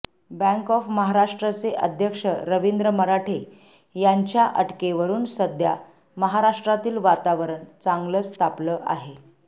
bank of महाराष्ट्रचे अध्यक्ष रविंद्र मराठे यंाच्या अटकेवरुन सध्या महाराष्ट्रातील वातावरण चांगलंच तापलं आहे